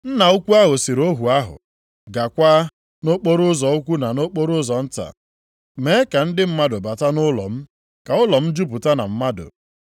“Nna ukwu ahụ sịrị ohu ahụ, ‘Gaakwa nʼokporoụzọ ukwu na okporoụzọ nta, mee ka ndị mmadụ bata nʼụlọ m, ka ụlọ m jupụta na mmadụ.